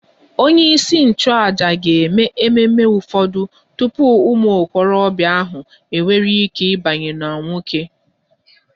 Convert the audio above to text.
Onyeisi nchụàjà ga-eme ememe ụfọdụ tupu ụmụ okorobịa ahụ enwee ike ịbanye n'nwoke